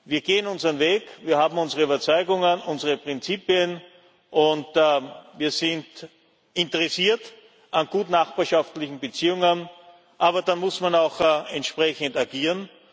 Wir gehen unseren Weg, wir haben unsere Überzeugungen, unsere Prinzipien, und wir sind interessiert an gut nachbarschaftlichen Beziehungen, aber da muss man auch entsprechend agieren.